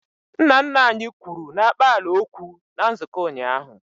Nna nna anyị kwuru n'akpaala okwu na nzukọ ụnyaahụ